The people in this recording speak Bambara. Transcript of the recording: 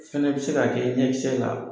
O fɛnɛ be se ka kɛ ɲɛ kisɛ la.